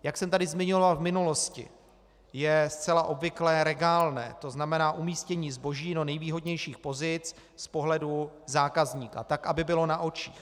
Jak jsem tady zmiňoval v minulosti, je zcela obvyklé regálné, to znamená umístění zboží do nejvýhodnějších pozic z pohledu zákazníka, tak aby bylo na očích.